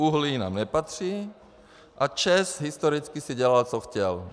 Uhlí nám nepatří a ČEZ historicky si dělal, co chtěl.